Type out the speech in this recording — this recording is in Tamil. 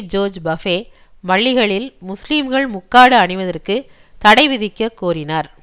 ஜோர்ஜ் பஃபே பள்ளிகளில் முஸ்லீம்கள் முக்காடு அணிவதற்குத் தடைவிதிக்கக் கோரினார்